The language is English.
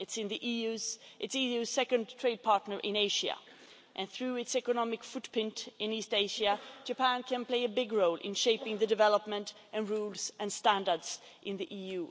It's the EU's second trade partner in Asia and, through its economic footprint in East Asia, Japan can play a big role in shaping the development of rules and standards in the EU.